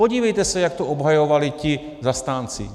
Podívejte se, jak to obhajovali ti zastánci.